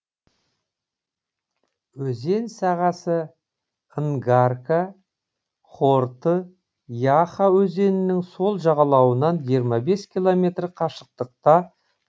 өзен сағасы нгарка хорты яха өзенінің сол жағалауынан жиырма бес километр қашықтықта орналасқан